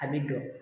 A bɛ don